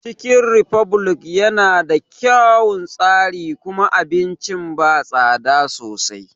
Cikin refublik ya na da kyaun tsari kuma abincin ba tsada sosai